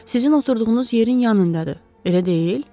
Sizin oturduğunuz yerin yanındadır, elə deyil?